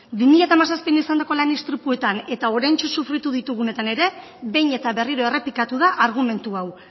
bi mila hamazazpian izandako lan istripuetan eta oraintxe sufritu ditugunetan ere behin eta berriro errepikatu da argumentu hau